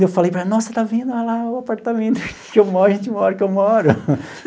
Eu falei para ela, nossa, está vendo lá o apartamento que eu moro a gente mora, que eu moro.